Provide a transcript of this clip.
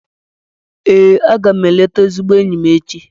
Ee, a ga m eleta ezigbo enyi m echi.